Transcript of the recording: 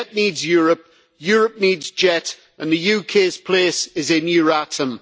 JET needs Europe, Europe needs JET and the UK's place is in Euratom.